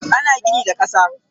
Ana gini da kasa.